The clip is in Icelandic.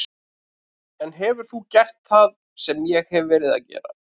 En hefur þú gert það sem ég hef verið að gera?